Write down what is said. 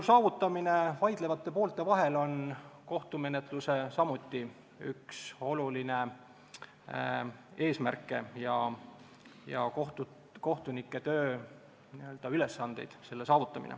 Vaidlevate poolte vahel õigusrahu saavutamine on samuti üks oluline kohtumenetluse eesmärk ja selle saavutamine kohtunike tööülesanne.